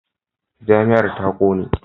Jami'ar ta kone.